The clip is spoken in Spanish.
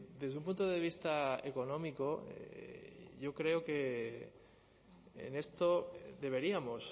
desde un punto de vista económico yo creo que en esto deberíamos